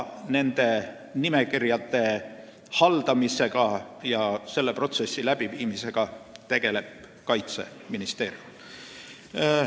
Nende nimekirjade haldamisega ja kogu selle protsessiga tegeleb Kaitseministeerium.